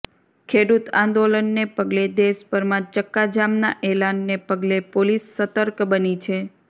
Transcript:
ખેડૂત આંદોલનને પગલે દેશભરમાં ચક્કાજામના એલાનને પગલે પોલિસ સતર્ક બની છે